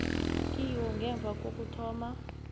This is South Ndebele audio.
kiwo ngemva kokuthoma